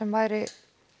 væri